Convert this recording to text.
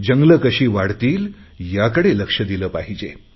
जंगले कशी वाढतील याकडे लक्ष दिले पाहिजे